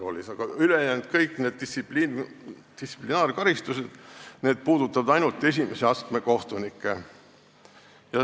Aga kõik ülejäänud distsiplinaarkaristused puudutavad ainult esimese astme kohtunikke.